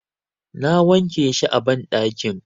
Na wanke shi a banɗakin.